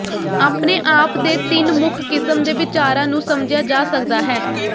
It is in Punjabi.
ਆਪਣੇ ਆਪ ਦੇ ਤਿੰਨ ਮੁੱਖ ਕਿਸਮ ਦੇ ਵਿਚਾਰਾਂ ਨੂੰ ਸਮਝਿਆ ਜਾ ਸਕਦਾ ਹੈ